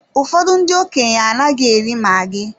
Ụfọdụ ndị okenye anaghị eri maggi